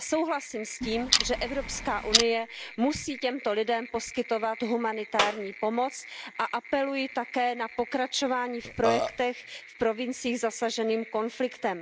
Souhlasím s tím, že EU musí těmto lidem poskytovat humanitární pomoc a apeluji také na pokračování v projektech v provinciích zasažených konfliktem.